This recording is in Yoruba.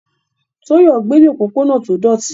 Toyo gbé ní òpópónà tó dọ̀tí.